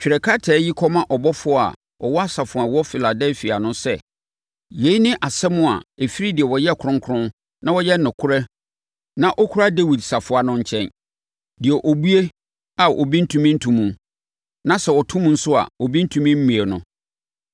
“Twerɛ krataa yi kɔma ɔbɔfoɔ a ɔwɔ asafo a ɛwɔ Filadelfia no sɛ: Yei ne asɛm a ɛfiri deɛ ɔyɛ kronkron na ɔyɛ nokorɛ na ɔkura Dawid safoa no nkyɛn. Deɛ ɔbue a, obi ntumi nto mu na sɛ ɔto mu nso a, obi ntumi mmue no.